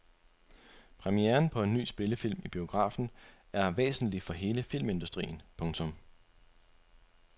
Premieren på en ny spillefilm i biografen er væsentlig for hele filmindustrien. punktum